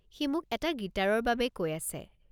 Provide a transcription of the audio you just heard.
সি মোক এটা গিটাৰৰ বাবে কৈ আছে।